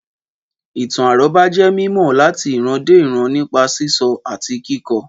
Ìtàn àrọ́bá jẹ́ mímọ̀ láti ìran dé ìran nípa sísọ àti kíkọ